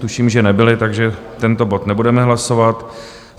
Tuším, že nebyly, takže tento bod nebudeme hlasovat.